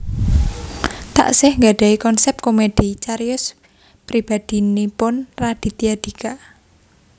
Taksih nggadhahi konsèp komedi cariyos pribadhinipun Raditya Dika